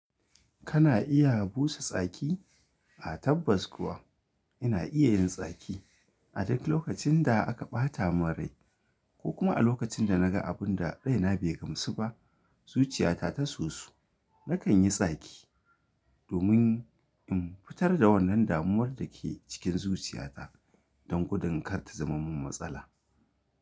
Kana iya busa tsaki? A tabbas kuwa ina iya yin tsaki. A duk lokacin da aka ɓata mun rai ko kuma a lokacin da na ga abun da raina bai gamsu ba, zuciyata ta sosu. Nakan yi tsaki domin in fitar da wannan damuwar da ke cikin zuciyata don gudan kar ta zamar min matsala.